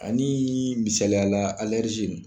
A niii misaliyala